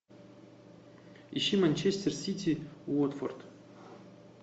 ищи манчестер сити уотфорд